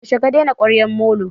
Yaushe ka daina kwaryar molo?